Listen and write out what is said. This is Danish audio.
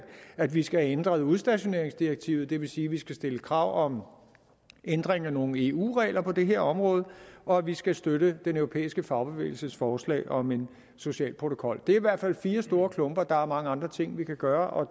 at vi skal have ændret udstationeringsdirektivet og det vil sige at vi skal stille krav om ændring af nogle eu regler på det her område og at vi skal støtte den europæiske fagbevægelses forslag om en social protokol det er i hvert fald fire store klumper der er mange andre ting vi kan gøre og